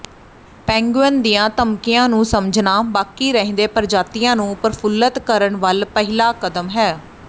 penguin ਦੀਆਂ ਧਮਕੀਆਂ ਨੂੰ ਸਮਝਣਾ ਬਾਕੀ ਰਹਿੰਦੇ ਪ੍ਰਜਾਤੀਆਂ ਨੂੰ ਪ੍ਰਫੁੱਲਤ ਕਰਨ ਵੱਲ ਪਹਿਲਾ ਕਦਮ ਹੈ